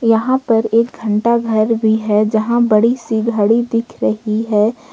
यहां पर एक घंटा घर भी हैं जहां बड़ी सी घड़ी दीख रही हैं।